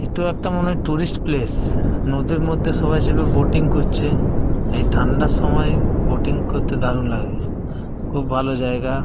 এতো একটা মনে হয় টুরিস্ট প্লেস । নদীর মধ্যে সবাই চেপে ব্যাটিং করছে। এই ঠান্ডার সময় ব্যাটিং করতে দারুন লাগে। খুব ভালো জায়গা।